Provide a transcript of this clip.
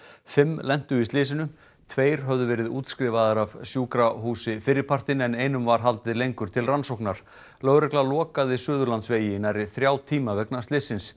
fimm lentu í slysinu tveir höfðu verið útskrifaðir af sjúkrahúsi fyrripartinn en einum var haldið lengur til rannsóknar lögregla lokaði Suðurlandsvegi í nærri þrjá tíma vegna slyssins